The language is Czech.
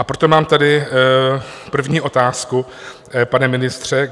A proto mám tady první otázku, pane ministře.